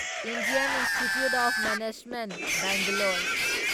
Indian institute of management Bangalore